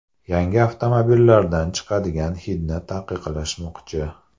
Yangi avtomobillardan chiqadigan hidni taqiqlashmoqchi.